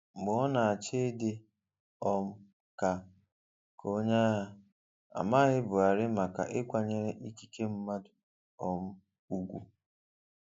Mgbe ọ na-achị dị um ka ka onye agha, a maghị Buhari maka ịkwanyere ikike mmadụ um ùgwù.